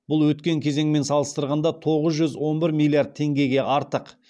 бұл өткен кезеңмен салыстырғанда тоғыз жүз он бір миллиард теңгеге артық